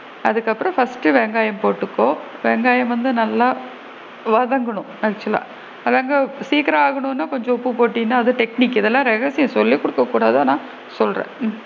அதுக்கு அப்பறம் first டு வெங்காயம் போட்டுக்கோ வெங்காயம் வந்து நல்லா வதங்கனும் actual லா வதங்க சீக்கரம் ஆகணும்னா கொஞ்சம் உப்பு போட்டின்னா அது technique கு இதலாம் ரகசியம் சொல்லி குடுக்க கூடாது ஆனா சொல்றேன்.